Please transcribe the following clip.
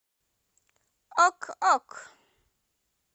ок ок